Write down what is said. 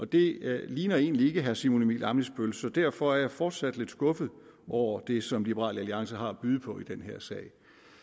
det ligner egentlig ikke herre simon emil ammitzbøll så derfor er jeg fortsat lidt skuffet over det som liberal alliance har at byde på i den her sag